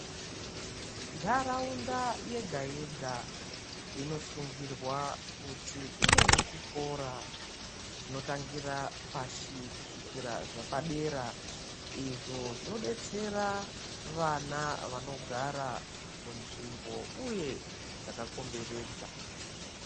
Nharaunda yega yega inosungirwa kuti ive nechikora chinotangira pashi kusvikira zvepadera izvo zvinodetsera vana vanogara munzvimbo uye dzakakomberedza.